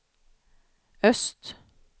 öst